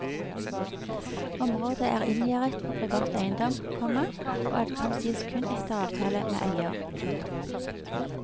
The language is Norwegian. Området er inngjerdet på privat eiendom, komma og atkomst gis kun etter avtale med eier. punktum